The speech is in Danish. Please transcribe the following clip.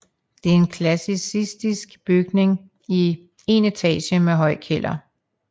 Det er en klassicistisk bygning i én etage med høj kælder